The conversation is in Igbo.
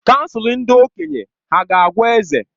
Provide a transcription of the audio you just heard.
Kansụl ndị okenye hà ga-agwa eze?